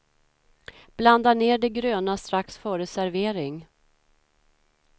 Blanda ner det gröna strax före servering.